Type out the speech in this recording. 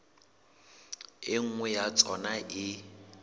e nngwe ya tsona e